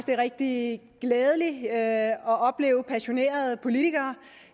det er rigtig glædeligt at opleve passionerede politikere